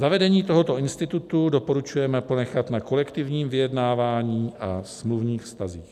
Zavedení tohoto institutu doporučujeme ponechat na kolektivním vyjednávání a smluvních vztazích.